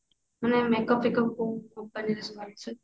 ମାନେ makeup ଫେକପ କୋଉ company ର ସବୁ ଆଣିଛୁ